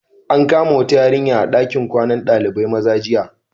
An kama wata yarinya a dakin kwanan Dalibain maza jiya.